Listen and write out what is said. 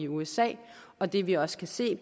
usa og det vi også kan se